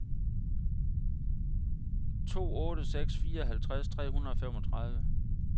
to otte seks fire halvtreds tre hundrede og femogtredive